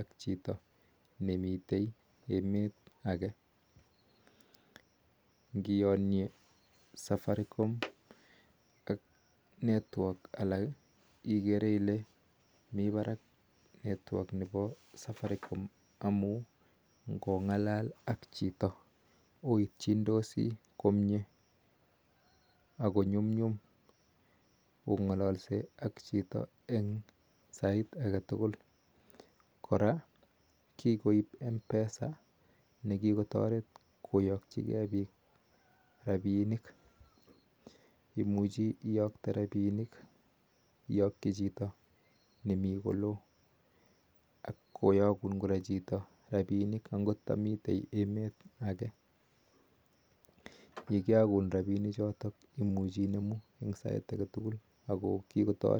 ak chito nemiteii emet agee ngiyanyeee ak alak kimiteii parak networks chepo safariom koraa kikoiip mpesa akimuchii iyaktee rapisheek akot ndamiteii emet akeee